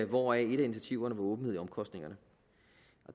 hvoraf et af initiativerne var åbenhed i omkostningerne